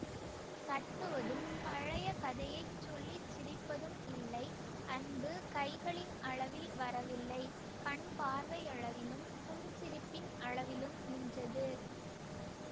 தட்டுவதும் பழைய கதையைச் சொல்லி சிரிப்பதும் இல்லை அன்பு கைகளின் அளவில் வரவில்லை கண்பார்வையளவிலும் புன்சிரிப்பின் அளவிலும் நின்றது